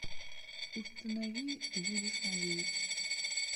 установи ты будешь моей